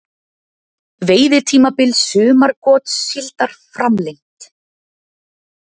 Veiðitímabil sumargotssíldar framlengt